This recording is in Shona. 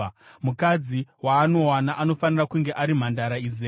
“ ‘Mukadzi waanowana anofanira kunge ari mhandara izere.